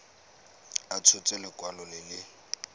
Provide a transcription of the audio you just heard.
a tshotse lekwalo le le